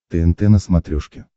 тнт на смотрешке